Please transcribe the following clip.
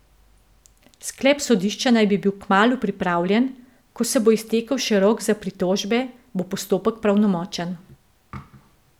Sklep sodišča naj bi bil kmalu pripravljen, ko se bo iztekel še rok za pritožbe, bo postopek pravnomočen.